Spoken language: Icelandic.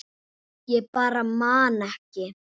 Ég bara man ekki.